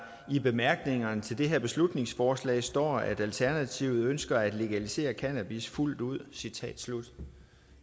i bemærkningerne til det her beslutningsforslag står at alternativet ønsker at legalisere cannabis fuldt ud citat slut